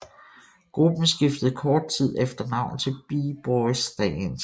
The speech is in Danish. Gruppen skiftede kort tid efter navn til B Boys Stance